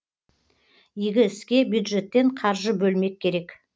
игі іске бюджеттен қаржы бөлмек керек